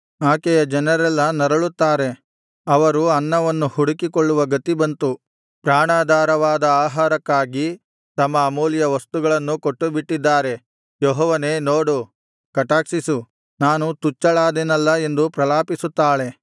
ಆಕೆಯ ಜನರೆಲ್ಲಾ ನರಳುತ್ತಾರೆ ಅವರು ಅನ್ನವನ್ನು ಹುಡುಕಿಕೊಳ್ಳುವ ಗತಿ ಬಂತು ಪ್ರಾಣಾಧಾರವಾದ ಆಹಾರಕ್ಕಾಗಿ ತಮ್ಮ ಅಮೂಲ್ಯ ವಸ್ತುಗಳನ್ನೂ ಕೊಟ್ಟುಬಿಟ್ಟಿದ್ದಾರೆ ಯೆಹೋವನೇ ನೋಡು ಕಟಾಕ್ಷಿಸು ನಾನು ತುಚ್ಛಳಾದೆನಲ್ಲಾ ಎಂದು ಪ್ರಲಾಪಿಸುತ್ತಾಳೆ